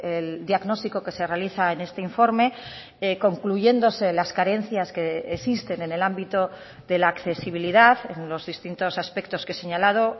el diagnóstico que se realiza en este informe concluyéndose las carencias que existen en el ámbito de la accesibilidad en los distintos aspectos que he señalado